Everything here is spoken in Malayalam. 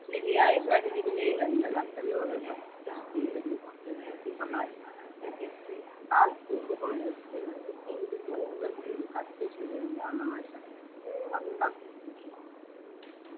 ഒരു ശരിയായ ശാരീരിക നിലയിലല്ല നട്ടെല്ലോടെ പരസ്പര ശരീരരൂപം സഹായിക്കുന്നു കാൽ പൂമുഖം വികസിപ്പിക്കുമ്പോഴും